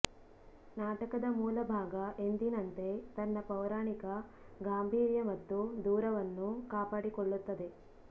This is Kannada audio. ನಾಟಕದ ಮೂಲ ಭಾಗ ಎಂದಿನಂತೆ ತನ್ನ ಪೌರಾಣಿಕ ಗಾಂಭೀರ್ಯ ಮತ್ತು ದೂರವನ್ನು ಕಾಪಾಡಿಕೊಳ್ಳುತ್ತದೆ